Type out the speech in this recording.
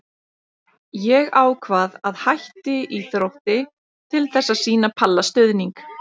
Ég ákvað að hætti í Þrótti til þess að sýna Palla stuðning.